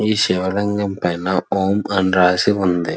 ఈ శివ లింగం పైన ఓం అని రాసి ఉంది.